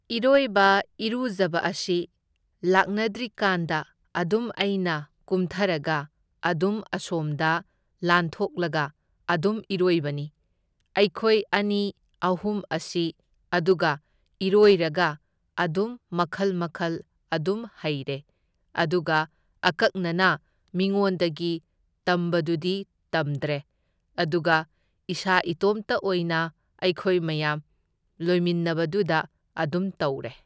ꯏꯔꯣꯏꯕ ꯏꯔꯨꯖꯕ ꯑꯁꯤ ꯂꯥꯛꯅꯗ꯭ꯔꯤꯀꯥꯟꯗ ꯑꯗꯨꯝ ꯑꯩꯅ ꯀꯨꯝꯊꯔꯒ ꯑꯗꯨꯝ ꯑꯁꯣꯝꯗ ꯂꯥꯟꯊꯣꯛꯂꯒ ꯑꯗꯨꯝ ꯏꯔꯣꯏꯕꯅꯤ ꯑꯩꯈꯣꯏ ꯑꯅꯤ ꯑꯍꯨꯝ ꯑꯁꯤ, ꯑꯗꯨꯒ ꯏꯔꯣꯏꯔꯒ ꯑꯗꯨꯝ ꯃꯈꯜ ꯃꯈꯜ ꯑꯗꯨꯝ ꯍꯩꯔꯦ, ꯑꯗꯨꯒ ꯑꯀꯛꯅꯅ ꯃꯤꯉꯣꯟꯗꯒꯤ ꯇꯝꯕꯗꯨꯗꯤ ꯇꯝꯗ꯭ꯔꯦ, ꯑꯗꯨꯒ ꯏꯁꯥ ꯏꯇꯣꯝꯇ ꯑꯣꯏꯅ ꯑꯩꯈꯣꯏ ꯃꯌꯥꯝ ꯂꯣꯏꯃꯤꯟꯅꯕꯗꯨꯗ ꯑꯗꯨꯝ ꯇꯧꯔꯦ꯫